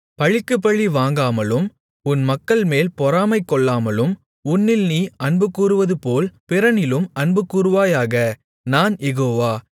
பழிக்குப்பழி வாங்காமலும் உன் மக்கள்மேல் பொறாமைகொள்ளாமலும் உன்னில் நீ அன்புகூறுவதுபோல் பிறனிலும் அன்புகூருவாயாக நான் யெகோவா